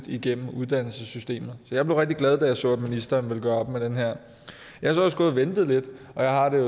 igennem uddannelsessystemet så jeg blev rigtig glad da jeg så at ministeren ville gøre op med det her jeg har også gået og ventet lidt og jeg har det